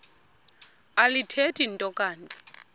alithethi nto kanti